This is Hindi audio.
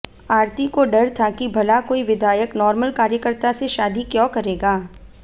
आरती को डर था कि भला कोई विधायक नॉर्मल कार्यकर्ता से शादी क्यों करेगा